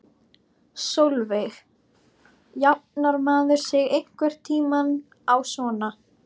Sólveig: Jafnar maður sig einhvern tímann á svona?